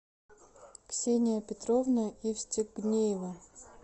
ксения петровна евстегнеева